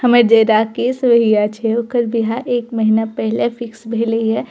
हमर जे राकेश भईया छे ओकर बियाह एक महीना पहले फिक्स भेलई हे।